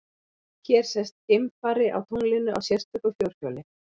Hér sést geimfari á tunglinu á sérstöku fjórhjóli.